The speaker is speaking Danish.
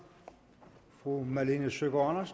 fru malene søgaard